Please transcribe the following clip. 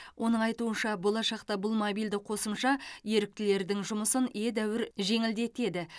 оның айтуынша болашақта бұл мобильді қосымша еріктілердің жұмысын едәуір жеңілдетеді